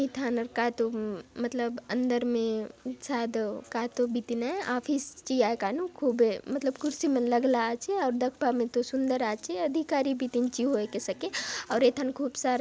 एथानर कायतो मतलब अंदर में शायद कायतो बितिन आय ऑफिस ची आय कायनुक खुबे मतलब कुर्सी मन लगला आचे आउर दखबा ने तो सुंदर आचे अधिकारी बितिन ची होयके सके आउर एथाने खूब सारा --